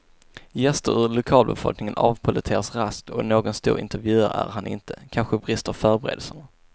Gäster ur lokalbefolkningen avpolletteras raskt och någon stor intervjuare är han inte, kanske brister förberedelserna.